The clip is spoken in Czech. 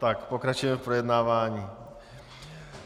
Tak pokračujeme v projednávání.